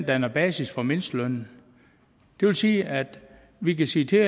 danner basis for mindstelønnen det vil sige at vi kan sige til